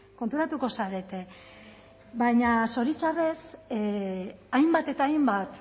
konturatuko zarete baina zoritxarrez hainbat eta hainbat